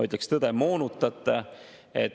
Lihtsalt kumbagi eesmärki ei saavutata ja tekitatakse kahju.